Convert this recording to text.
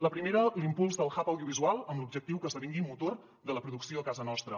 la primera l’impuls del hubl’objectiu que esdevingui motor de la producció a casa nostra